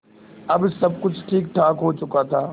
अब सब कुछ ठीकठाक हो चुका था